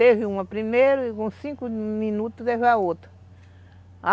Teve uma primeiro e com cinco minutos teve a outra.